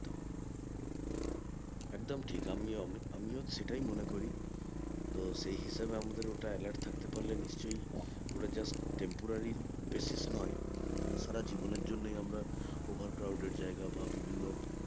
একদম ঠিক আমিও সেটাই মনে করি তো সেই হিসাবে আমাদের ওটা alert থাকতে পারলে নিশ্চই ওটা just temproraly basis নয় তালে সারা জীবন এর জন্য আমরা over crowded জায়গা বা বিভিন্ন